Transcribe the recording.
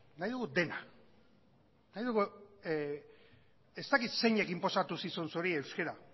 nahi dugu dena ez daki zeinek inposatu zizun zuri euskara